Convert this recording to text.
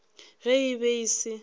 ge e be e se